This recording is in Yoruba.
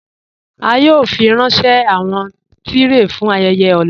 A yòò fírànṣẹ̀ awọn tìrẹé fún ayéyè ọ̀là